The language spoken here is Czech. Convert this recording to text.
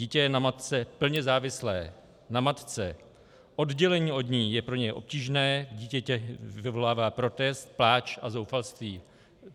Dítě je na matce plně závislé, na matce, oddělení od ní je pro něj obtížné, v dítěti vyvolává protest, pláč a zoufalství.